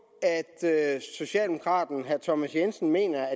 at socialdemokraten herre thomas jensen mener